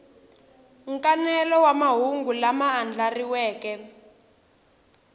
nkanelo wa mahungu lama andlariweke